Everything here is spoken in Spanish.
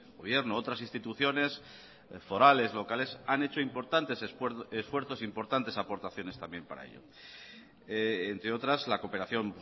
gobierno otras instituciones forales locales han hecho importantes esfuerzos importantes aportaciones también para ello entre otras la cooperación